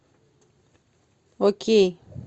окей